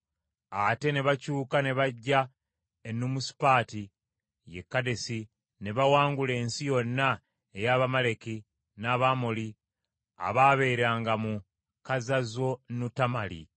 Ate ne bakyuka ne bajja e Nuumisupaati, ye Kadesi ne bawangula ensi yonna ey’Abamaleki n’Abamoli abaabeeranga mu Kazazonutamali.